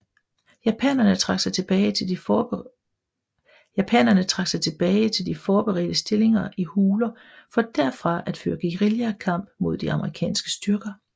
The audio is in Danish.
Japanerne trak sig tilbage til de forberedte stillinger i huler for derfra at føre guerillakamp mod de amerikanske styrker